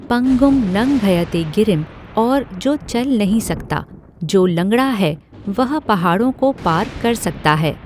पंगुम लंघयते गिरिम और जो चल नहीं सकता, जो लंगड़ा है वह पहाड़ों को पार कर सकता है।